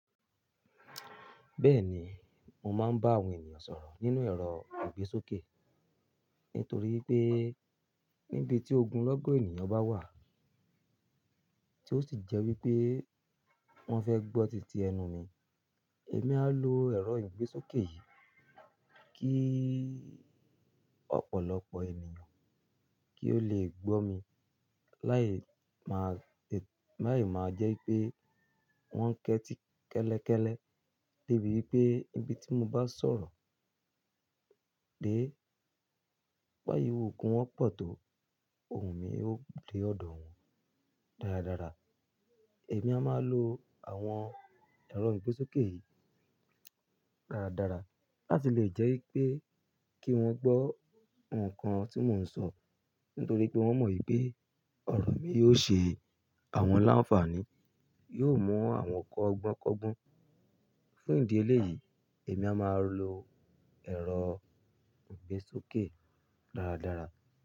Bẹ́ẹ̀ni, mo máa ń bá àwọn ènìyàn sọ̀rọ̀ nínú ẹ̀rọ ìgbésókè. Nítorí pé níbi tí ogunlọ́gọ̀ ènìyàn bá wà, tí ó sì jẹ́ wípé wọ́n fẹ́ gbọ́ tìtì ẹnu mi, èmi a lo ẹ̀rọ ìgbésókè yìí. Kíi ọ̀pọ̀lọpọ̀ ènìyàn kí ó le gbọ́ mi. Láì máa jẹ́ pé wọ́n ń kẹ́ti kẹ́lẹ́kẹ́lẹ́, débi wípé níbi tí mo bá sọ̀rọ̀ dé, bo ti wù kí wọ́n pọ̀ tó, ohùn mi yóò dé ọ̀dọ̀ wọn dáradára. Èmi a máa lo àwọn ẹ̀rọ ìgbésókè yìí dáradára láti lè jẹ́ wípé kí wọ́n gbọ́ nǹkan tí mò ń sọ. Nítorí pé wọ́n mọ̀ wípé ọ̀rọ̀ mi yóò ṣe àwọn láǹfààní, yóò mú àwọn kọ́ ogbọ́n kọ́gbọ́n. Fún ìdí eléyìí, èmi a máa lo ẹ̀rọ ìgbésókè dáradára.